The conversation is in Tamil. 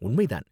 உண்மை தான்.